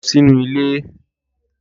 Lọ sínú ilé!